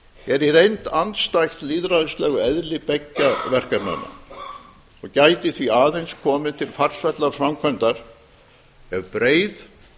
er í reynd andstætt lýðræðislegu eðli beggja verkefnanna og gæti því aðeins komið til farsællar framkvæmdar ef breið